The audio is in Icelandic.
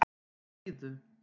Síðu